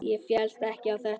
Ég féllst ekki á þetta.